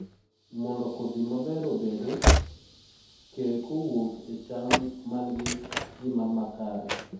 mondo kodhi maber obede, ke kowuk e cham man gi ngimamakare